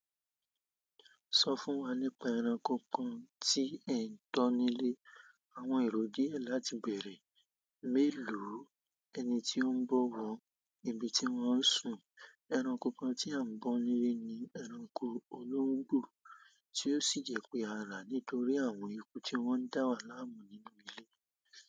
Sọ fún wa nípa ẹranko kan tí ẹ̀ ń tọ́ nílé. Àwọn èrò díẹ̀ láti bèèrè. Mélòó, ẹni tí ó ń bọ̀ wọ́n, íbi tí wọ́n ń sùn. Ẹranko kan tí à ń bọ́ nílé ni ẹranko olóńgbò tí ó sì jẹ pé arà nítorí àwọn eku tí wọ́n ń dá wa láàmú nínú ilé.